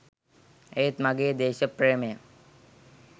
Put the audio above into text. ඒත් මගේ දේශප්‍රේමය